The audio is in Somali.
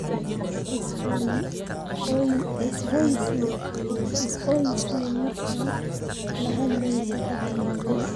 Is hoosaysii markaad la hadlayso dadka waaweyn